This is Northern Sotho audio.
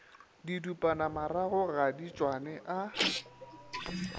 didupanamarago ga di tšwane a